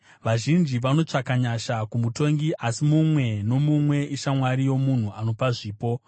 Vazhinji vanotsvaka nyasha kumutongi, uye mumwe nomumwe ishamwari yomunhu anopa zvipo.